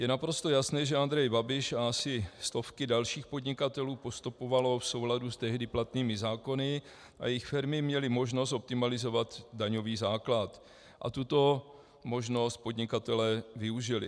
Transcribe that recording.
Je naprosto jasné, že Andrej Babiš a asi i stovky dalších podnikatelů postupovali v souladu s tehdy platnými zákony, jejich firmy měly možnost optimalizovat daňový základ a tuto možnost podnikatelé využili.